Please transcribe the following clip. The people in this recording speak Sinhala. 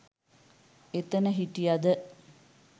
එතන හිටියද